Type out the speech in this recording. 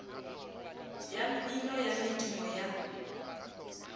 ya mmino ya medumo ya